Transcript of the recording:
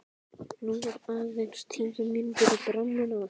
Nú eru aðeins tíu tímar í brennuna.